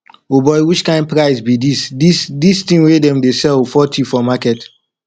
oboy which kind price be this this this thing wey them dey sell forty for market